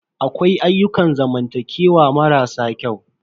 Akwai ayyukan zamantakewa mara sa kyau.